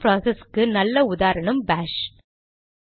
system ப்ராசஸ்க்கு நல்ல உதாரணம் பாஷ்